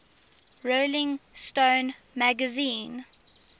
rolling stone magazine